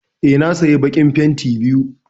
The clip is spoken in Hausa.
Eh na saya bakin fenti biyu.